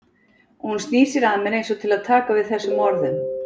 Og hún snýr sér að mér einsog til að taka við þessum orðum.